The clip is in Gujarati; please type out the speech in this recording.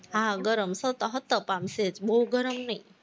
હા ગરમ હતપ હતપ આમ સહેજ બોવ ગરમ નઈ,